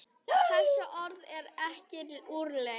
Þessi orð eru ekki úrelt.